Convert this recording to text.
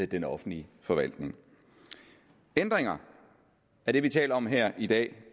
den offentlige forvaltning ændringer af det vi taler om her i dag